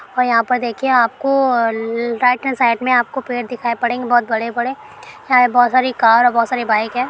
और यहां पर देखिए आपको अ ल राइट हैंड साइड में आपको पेड़ दिखाई पड़ेंगे बहुत बड़े-बड़े यहां पे बहुत सारी कार है बहुत सारी बाइक है।